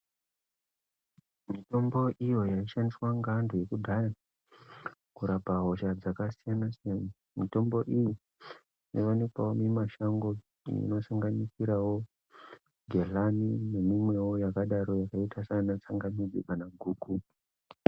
Mitombo iyo yaishandiswa ngeantu ekudhaya kurapa hosha dzakasiyana siyana, mitombo iyi inowanikwawo mumashango inosanganisirawo gedhlani neimwewo yakadaro yakaita saana tsangamidzi kana guku.